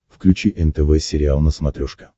включи нтв сериал на смотрешке